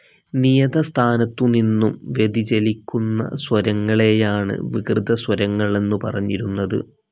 നിയത സ്ഥാനത്തു നിന്നും വ്യതിചലിക്കുന്ന സ്വരങ്ങളെയാണ് വികൃതസ്വരങ്ങൾ എന്നു പറഞ്ഞിരുന്നത്.